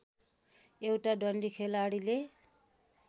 एउटा डन्डी खेलाडीले